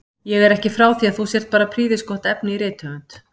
Ég er ekki frá því að þú sért bara prýðisgott efni í rithöfund!